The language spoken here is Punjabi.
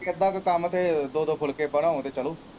ਇਦਾਂ ਦੇ ਕੰੰਮ ਤੇ ਦੋ ਦੋ ਫੁਲਕੇ ਬਣਾਉ ਤੇ ਚੱਲੋ।